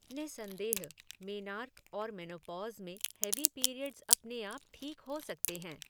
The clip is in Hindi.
निसन्देह, मेनार्क और मेनोपॉज़ में हैवी पीरियड्स अपने आप ठीक हो सकते हैं।